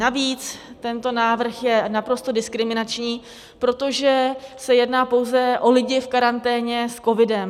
Navíc tento návrh je naprosto diskriminační, protože se jedná pouze o lidi v karanténě s covidem.